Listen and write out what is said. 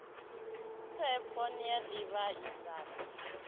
phepho ni a ḓivha idzanu